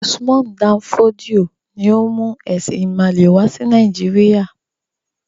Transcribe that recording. Usman Dan Fodio ni ó mú “ẹ̀sìn-ìmàle” wà sí Nàìjíríà.